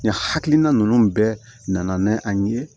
Nin hakilina ninnu bɛɛ nana n'an ye